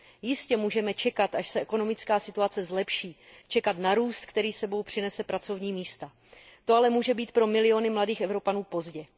Jistě, můžeme čekat, až se ekonomická situace zlepší, čekat na růst, který s sebou přinese pracovní místa. To ale může být pro miliony mladých Evropanů pozdě.